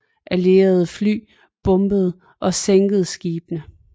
Allierede fly bombede og sænkede skibene